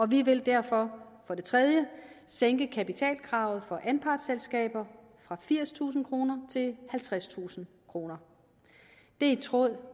vi vil derfor for det tredje sænke kapitalkravet for anpartsselskaber fra firstusind kroner til halvtredstusind kroner det er i tråd